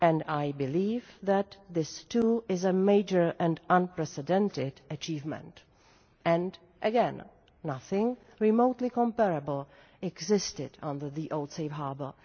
I believe that this too is a major and unprecedented achievement, and again, nothing remotely comparable existed under the old Safe Harbour.